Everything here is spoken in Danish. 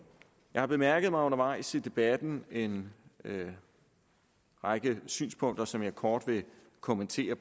jeg har bemærket undervejs i debatten en række synspunkter som jeg kort vil kommentere